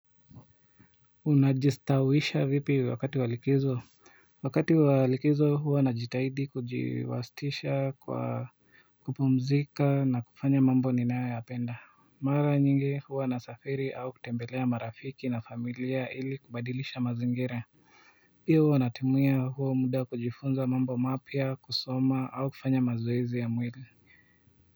Unajistawisha vipi wakati wa likizo Wakati wa likizo huwa najitahidi kujiwasitisha kwa kupumzika na kufanya mambo ninayo yapenda mara nyingi huwa nasafiri au kutembelea marafiki na familia ili kubadilisha mazingira hiyo huwa natimuya huo muda kujifunza mambo mapya kusoma au kufanya mazoezi ya mwili.